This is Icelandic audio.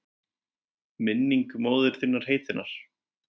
Minningu móður þinnar heitinnar?